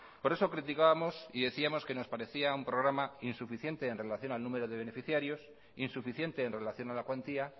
por eso criticábamos y decíamos que nos parecía un programa insuficiente en relación al número de beneficiarios insuficiente en relación a la cuantía